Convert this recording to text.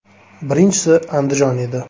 Birinchisi Andijon edi.